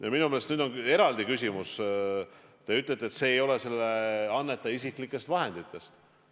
Ja minu meelest nüüd on eraldi küsimus see, kui teie ütlete, et see ei ole selle annetaja isiklikest vahenditest.